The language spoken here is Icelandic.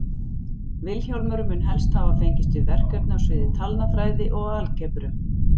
Vilhjálmur mun helst hafa fengist við verkefni á sviði talnafræði og algebru.